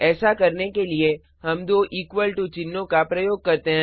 ऐसा करने के लिए हम दो इक्वल टू चिन्हों का प्रयोग करते हैं